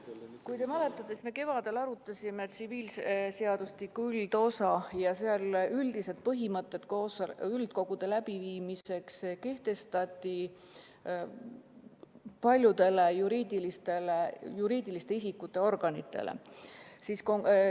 Kui te mäletate, siis me kevadel arutasime tsiviilseadustiku üldosa seadust ja seal kehtestati paljudele juriidiliste isikute organitele üldised põhimõtted üldkogude läbiviimiseks.